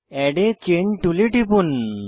add a chain টুলে টিপুন